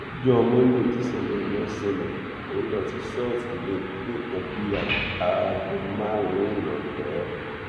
lọjọ monde tíṣẹlẹ yẹn ṣẹlẹ mò ń lọ sí ṣọọṣì ní nǹkan bíi aago márùnún ìrọlẹ